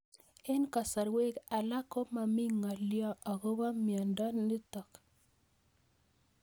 Eng'kasarwek alak ko mami ng'alyo akopo miondo notok